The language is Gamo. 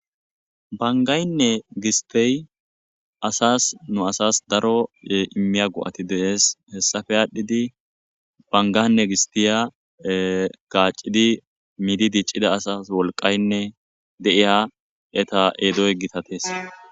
Banggaynne gistey nu asas daro go'a immiya go'ati de'es. hessappe adhidi banggane gisttiya gaccidi middi diccida asas wolqqaynne de'iya etta ezo gittates.